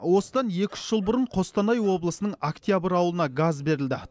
осыдан екі үш жыл бұрын қостанай облысының октябрь ауылына газ берілді